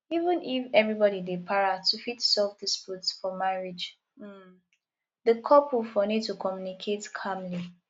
even if everybody dey para to fit solve dispute for marriage um di couple fo need to commmunicate calmly